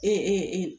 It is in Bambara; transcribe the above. Ee